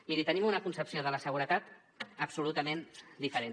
miri tenim una concepció de la seguretat absolutament diferent